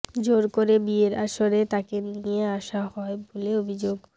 জোর করে বিয়ের আসরে তাঁকে নিয়ে আসা হয় বলে অভিযোগ